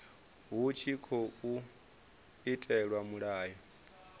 hu tshi tkhou itelwa mulayo